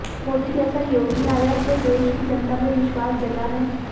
मोदी जैसा योगी आया तो देश की जनता में विश्वास जगा है